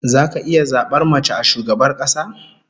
Zaka iya zabar mace a shugabar kasa?